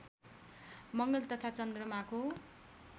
मङ्गल तथा चन्द्रमाको